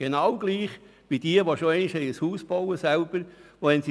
Wer schon einmal selber ein Haus gebaut hat, kennt das: